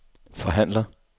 forhandler